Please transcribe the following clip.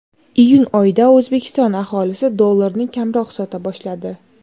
Iyun oyida O‘zbekiston aholisi dollarni kamroq sota boshladi.